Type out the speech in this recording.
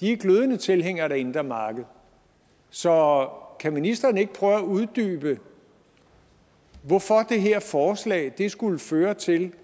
de er glødende tilhængere af det indre marked så kan ministeren ikke prøve at uddybe hvorfor det her forslag skulle føre til